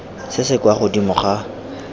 se se kwa godimo ga